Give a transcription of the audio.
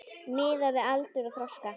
Miðað við aldur og þroska.